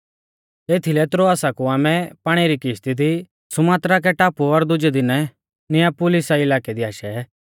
एथीलै त्रोआसा कु आमै पाणी री किश्ती दी सुमात्राके टापु और दुजै दिनै नियापुलिसा इलाकै दी आशै